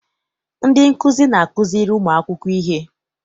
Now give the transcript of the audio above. Ndị nkụzi na-akụziri ụmụ akwụkwọ ihe.